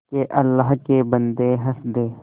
के अल्लाह के बन्दे हंस दे